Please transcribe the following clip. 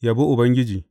Yabi Ubangiji.